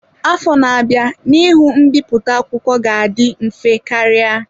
Afọ na-abịa, n'ihu mbipụta akwụkwọ ga-adị mfe karịa.